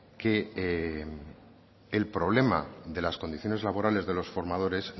que el problema de las condiciones laborales de los formadores